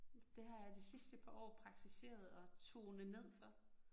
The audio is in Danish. Det har jeg de sidste par år praktiseret at tone ned for